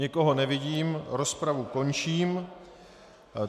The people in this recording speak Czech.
Nikoho nevidím, rozpravu končím.